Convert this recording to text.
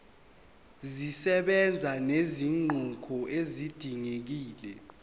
zisebenza nezinguquko ezidingekile